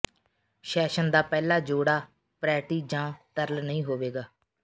session ਦਾ ਪਹਿਲਾ ਜੋੜਾ ਪਰੈਟੀ ਜਾਂ ਤਰਲ ਨਹੀਂ ਹੋਵੇਗਾ